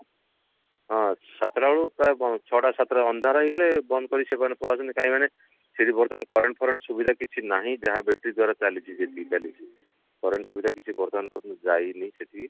ହଁ ସାତ ତା ରୁ ପ୍ରାଏ ବ ଛଅ ଟା ସାତ ଟା ଅନ୍ଧାର ହେଇଗଲେ ବନ୍ଦ କରିକି ସେବାୟତ ପଳାନ୍ତି କାହିଁକି ମାନେ ସେଠି ବର୍ତମାନ current ଫରେଣ୍ଟ ସୁବିଧା କିଛି ନାହିଁ ଯାହା battery ଦ୍ଵାରା ଚାଲିଛି ସେଠି ଚାଲିଛି current ସୁବିଧା କିଛି ବର୍ତମାନ ପର୍ଯ୍ୟନ୍ତ ଯାଇନି ସେଠି